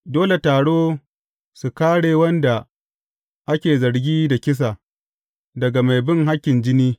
Dole taro su kāre wanda ake zargi da kisa, daga mai bin hakkin jini.